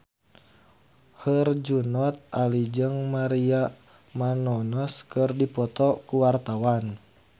Herjunot Ali jeung Maria Menounos keur dipoto ku wartawan